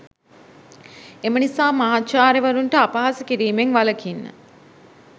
එම නිසා මහාචාර්යවරුන්ට අපහාස කිරීමෙන් වලකින්න